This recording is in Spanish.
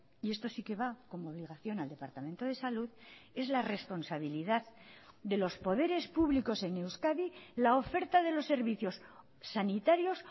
y esto si que va como obligación al departamento de salud es la responsabilidad de los poderes públicos en euskadi la oferta de los servicios sanitarios